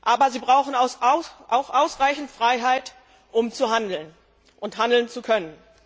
Aber sie brauchen auch ausreichend Freiheit, um zu handeln und handeln zu können.